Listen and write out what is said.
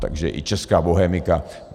Takže i česká bohemika...